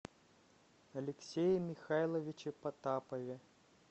алексее михайловиче потапове